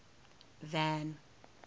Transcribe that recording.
van